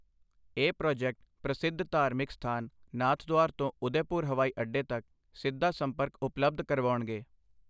ਇਹ ਪ੍ਰੋਜੈਕਟ ਪ੍ਰਸਿੱਧ ਧਾਰਮਿਕ ਸਥਾਨ ਨਾਥਦੁਆਰ ਤੋਂ ਉਦੈਪੁਰ ਹਵਾਈ ਅੱਡੇ ਤੱਕ ਸਿੱਧਾ ਸੰਪਰਕ ਉਪਲਬਧ ਕਰਵਾਉਣਗੇ।